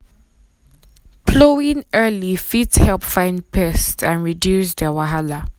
plowing early fit help find pests and reduce their wahala.